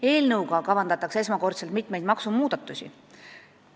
Eelnõuga kavandatakse esimest korda mitmeid maksumuudatusi.